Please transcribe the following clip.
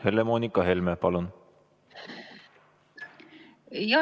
Helle-Moonika Helme, palun!